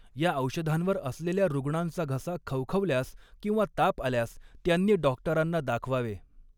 या औषधांवर असलेल्या रुग्णांचा घसा खवखवल्यास किंवा ताप आल्यास त्यांनी डॉक्टरांना दाखवावे.